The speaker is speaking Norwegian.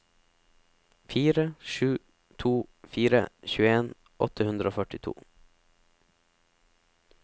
fire sju to fire tjueen åtte hundre og førtito